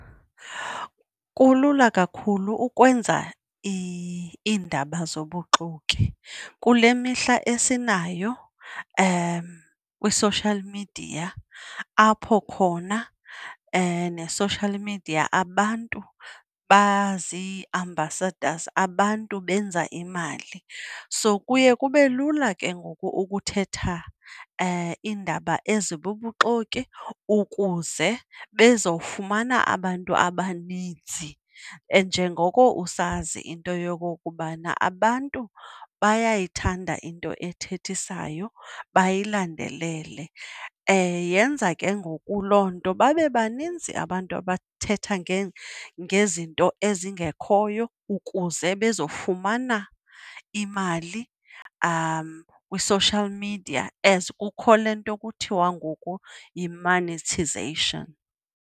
Kulula kakhulu ukwenza iindaba zobuxoki kule mihla esinayo kwi-social media apho khona ne-social media abantu bazi-ambassadors, abantu benza imali. So kuye kube lula ke ngoku ukuthetha iindaba ezibubuxoki ukuze bezofumana abantu abaninzi. Njengoko usazi into yokokubana abantu bayayithanda into ethethisayo bayilandelele, yenza ke ngoku loo nto babe baninzi abantu abathetha ngezinto ezingekhoyo ukuze bezofumana imali kwi-social media as kukho le nto kuthiwa ngoku yi-monetization.